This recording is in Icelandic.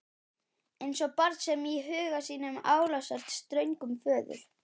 Eins og barn sem í huga sínum álasar ströngum föður.